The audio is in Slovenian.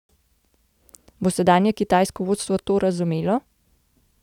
Bo sedanje kitajsko vodstvo to razumelo?